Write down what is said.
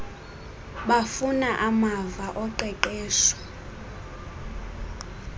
bafumana amava oqeqesho